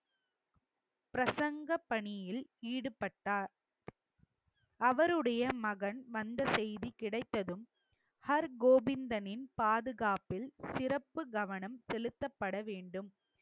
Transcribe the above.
பிரசங்க பணியில் ஈடுபட்டார். அவருடைய மகன் வந்த செய்தி கிடைத்ததும் ஹர்கோவிந்தனின் பாதுகாப்பில் சிறப்பு கவனம் செலுத்தப்பட வேண்டும்